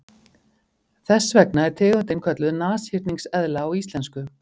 Þess vegna er tegundin kölluð nashyrningseðla á íslensku.